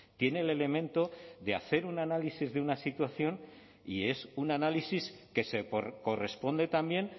tiene el elemento de hacer un análisis de una situación y es un análisis que se corresponde también